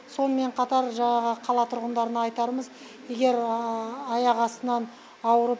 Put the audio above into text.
сонымен қатар жаңағы қала тұрғындарына айтарымыз егер аяқ астынан ауырып